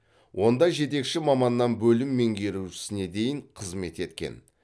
онда жетекші маманнан бөлім меңгерушісіне дейін қызмет еткен